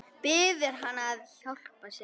Biður hann að hjálpa sér.